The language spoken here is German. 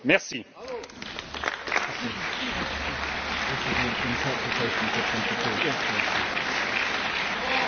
Herr Jadot! Ich muss damit leben, dass jede Art der Auslegung der Geschäftsordnung, die von mir vorgenommen wird, von Ihnen politisch interpretiert wird.